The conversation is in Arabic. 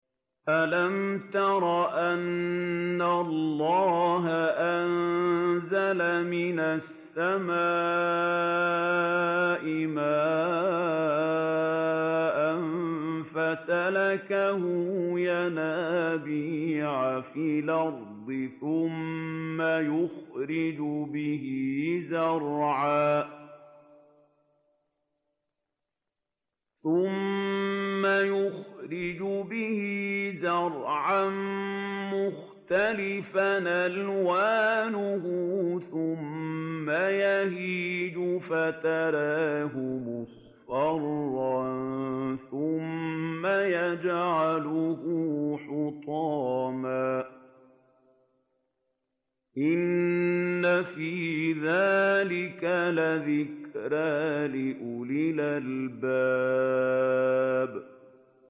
أَلَمْ تَرَ أَنَّ اللَّهَ أَنزَلَ مِنَ السَّمَاءِ مَاءً فَسَلَكَهُ يَنَابِيعَ فِي الْأَرْضِ ثُمَّ يُخْرِجُ بِهِ زَرْعًا مُّخْتَلِفًا أَلْوَانُهُ ثُمَّ يَهِيجُ فَتَرَاهُ مُصْفَرًّا ثُمَّ يَجْعَلُهُ حُطَامًا ۚ إِنَّ فِي ذَٰلِكَ لَذِكْرَىٰ لِأُولِي الْأَلْبَابِ